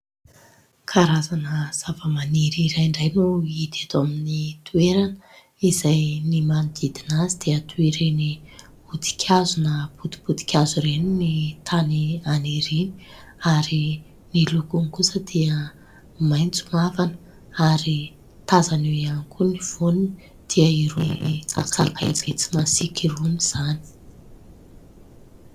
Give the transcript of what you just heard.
Karazana zavamaniry iray indray no hita eto amin'ny toerana, izay ny manodidina azy dia toa ireny hodi-kazo na potipoti- kazo ireny ny tany aniriany ary ny lokony kosa dia maitso mavana ary tazana eo ihany koa ny voany dia irony sakay be tsy masiaka irony izany.